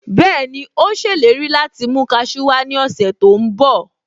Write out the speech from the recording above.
Bẹ́ẹ̀ni, Ó ṣèlérí láti mú kasú wá ní ọ̀sẹ̀ tó ń bọ̀